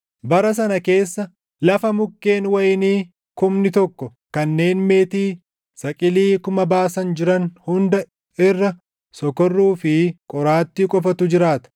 Bara sana keessa, lafa mukkeen wayinii kumni tokko kanneen meetii saqilii kuma baasan jiran hunda irra sokorruu fi qoraattii qofatu jiraata.